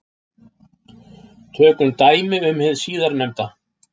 Tökum dæmi um hið síðarnefnda.